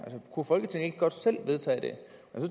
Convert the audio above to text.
kunne folketinget ikke godt selv vedtage det